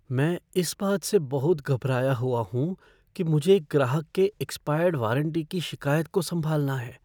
मैं इस बात से बहुत घबराया हुआ हूँ कि मुझे एक ग्राहक के एक्सपायर्ड वारंटी की शिकायत को संभालना है।